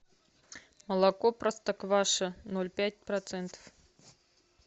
молоко простокваша ноль пять процентов